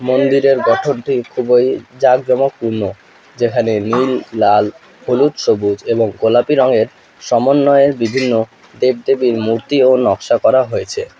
মন্দিরের গঠনটি খুবই জাঁকজমকপূর্ণ যেখানে নীল লাল হলুদ সবুজ এবং গোলাপি রঙের সমন্বয়ের বিভিন্ন দেবদেবীর মূর্তিও নকশা করা হয়েছে।